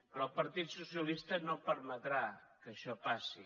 però el partit socialista no permetrà que això passi